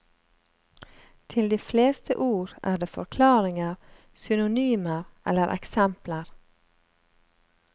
Til de fleste ord er det forklaringer, synonymer eller eksempler.